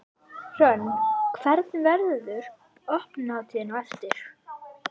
Hrönn, hvernig, verður opnunarhátíð á eftir?